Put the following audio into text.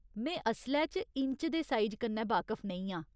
में असलै च इंच दे साइज कन्नै बाकफ नेईं आं।